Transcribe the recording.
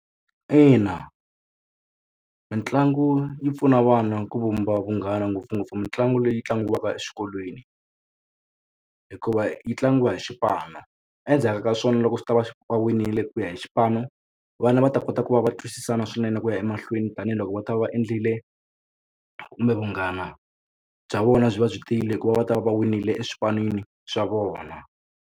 Ina mitlangu yi pfuna vana ku vumba vunghana ngopfungopfu mitlangu leyi tlangiwaka exikolweni hikuva yi tlangiwa hi xipano endzhaku ka swona loko swi ta va xi winile ku ya hi xipano vana va ta kota ku va va twisisana swinene ku ya emahlweni tanihiloko va ta va va endlile kumbe vunghana bya vona byi va byi tiyile hikuva va ta va va winile eswipanini swa vona.